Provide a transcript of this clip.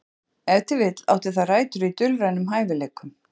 Ef til vill átti það rætur í dulrænum hæfileikum.